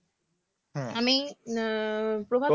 আমি উম প্রভাত